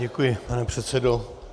Děkuji, pane předsedo.